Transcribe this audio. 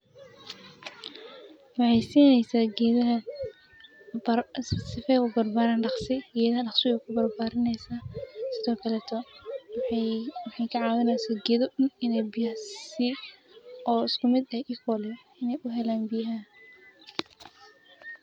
Waxay siineysa gedaha bar, si feeyo ku barbaaran dhaqsi. Iyana dhaqsi wey ku barbaaraysa sidoo kale too. Waxay ka caawinaysa gedo inay biyaasi oo isku mid ah iyo koolo inay u helaan biyaha.